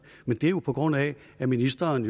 men det er jo altså på grund af at ministeren